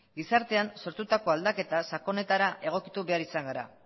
gizartean sortutako aldaketa sakonetara egokitu behar izan gara